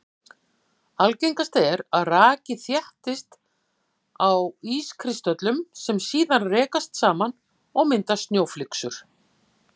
Algengast er að raki þéttist á ískristöllum sem síðan rekast saman og mynda snjóflyksur.